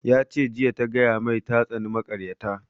Ya ce jiya ta gaya mai ta tsani makaryata